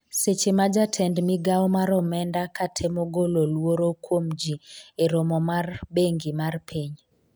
seche ma jatend migawo mar omenda ka temo golo luoro kuom ji e romo mar bengi mar piny